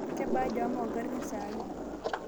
kebaa jam ongarin sahi